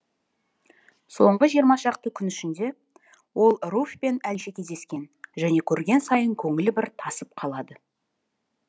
соңғы жиырма шақты күн ішінде ол руфьпен әлше кездескен және көрген сайын көңілі бір тасып қалады